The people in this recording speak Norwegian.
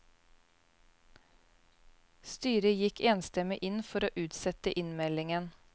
Styret gikk enstemmig inn for å utsette innmeldingen.